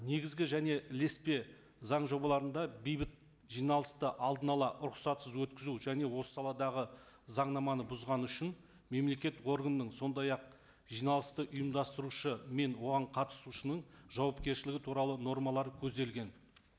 негізгі және ілеспе заң жобаларында бейбіт жиналысты алдын ала рұқсатсыз өткізу және осы саладағы заңнаманы бұзғаны үшін мемлекет органның сондай ақ жиналысты ұйымдастырушы мен оған қатысушының жауапкершілігі туралы нормалар көзделген